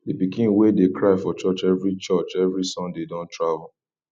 the pikin wey dey cry for church every church every sunday don travel